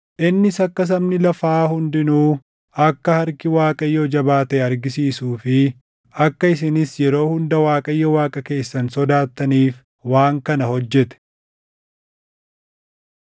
Innis akka sabni lafaa hundinuu akka harki Waaqayyoo jabaa taʼe argisiisuu fi akka isinis yeroo hunda Waaqayyo Waaqa keessan sodaattaniif waan kana hojjete.”